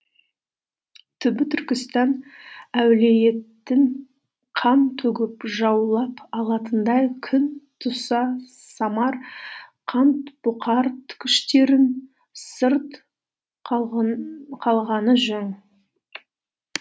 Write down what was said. түбі түркістан уәлетін қан төгіп жаулап алатындай күн туса самарқант бұқар күштерінің сырт қалғаны жөн